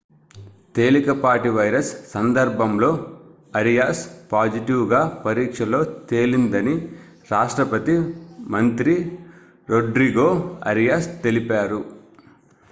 తేలికపాటి వైరస్ సందర్భంలో Arias positive గా పరీక్షలో తేలిందని రాష్ట్రపతి మంత్రి రోడ్రిగో అరియాస్ తెలిపారు